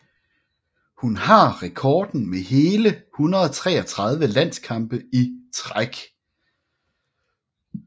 Hun har rekorden med hele 133 landskampe i træk